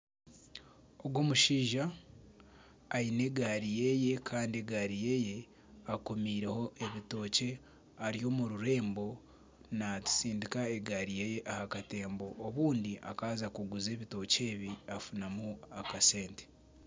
Ogu omushaija aine egari yeeye Kandi egari yeeye akomiireho ebitokye ari omu rurembo natsindika egari ye aha katembo obundi akaaza kuguza ebitokye ebi afunamu akasente.